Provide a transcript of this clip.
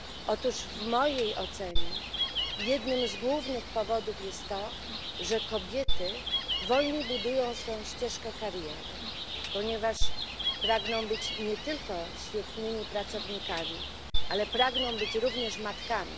Otóż w mojej ocenie jednym z głównych powodów jest to, że kobiety wolniej budują swoją ścieżkę kariery, ponieważ pragną być nie tylko świetnymi pracownikami, ale pragną być również matkami.